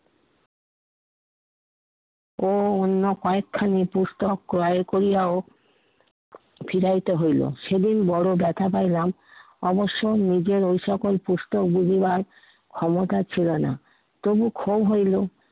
ও অন্য কয়েকখানি পুস্তক ক্রয় করিয়াও ফিরাইতে হইলো, সেদিন বড় ব্যথা পাইলাম। অবশ্য নিজের ঐ সকল পুস্তক বুঝিবার ক্ষমতা ছিলো না। তবু ক্ষোভ হইলো